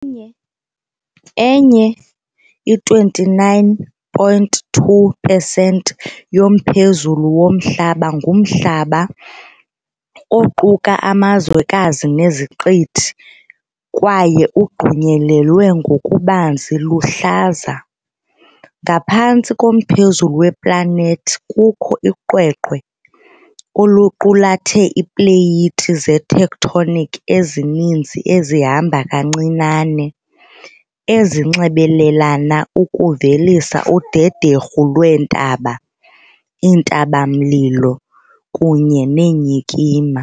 Enye, enye i 29.2 pesenti yomphezulu woMhlaba ngumhlaba, oquka amazwekazi neziqithi, kwaye ugqunyelelwe ngokubanzi luhlaza. Ngaphantsi komphezulu weplanethi kukho uqweqwe, oluqulathe iipleyiti zetectonic ezininzi ezihamba kancinane, ezinxibelelana ukuvelisa udederhu lweentaba, iintaba-mlilo, kunye neenyikima.